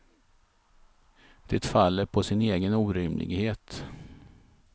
Det faller på sin egen orimlighet.